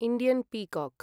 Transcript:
Indian peacock